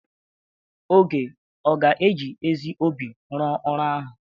Oge ga-eji ezi obi rụọ ọrụ ahụ?